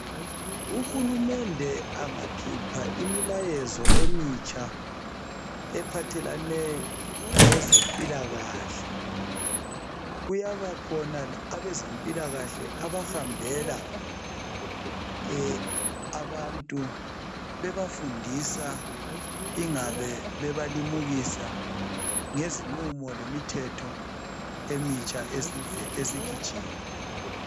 Uhulumende angakhlpha imilayezo emitsha ephathelane lezempilakahle kuyabakhona abezempilakahle ahambela abantu bebafundisa ingabe bebalimukisa mayelana lemithetho emitsha esikhitshiwe.